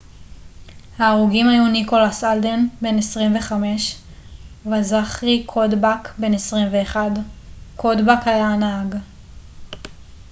ההרוגים היו ניקולס אלדן בן 25 וזכארי קודבק בן 21 קודבק היה הנהג